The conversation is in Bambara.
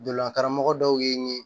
Donlakaramɔgɔ dɔw y'i